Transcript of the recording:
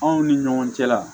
Anw ni ɲɔgɔn cɛ la